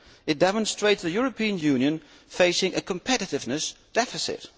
It demonstrates the European Union facing a competitiveness deficit.